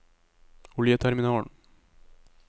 oljeterminalen